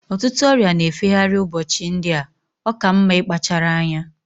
Ọtụtụ ọrịa na-efe gharị ụbọchị ndị a. Ọ ka mma ịkpachara anya